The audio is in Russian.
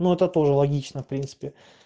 ну это тоже логично в принципе